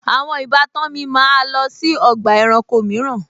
Àwọn ìbátan mi máa lọ sí ọgbà ẹranko mìíràn